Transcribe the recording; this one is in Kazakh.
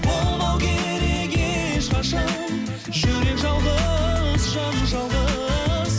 болмау керек ешқашан жүрек жалғыз жан жалғыз